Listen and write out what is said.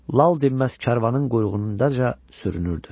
Lal dinməz karvanın quyruğunca sürünürdü.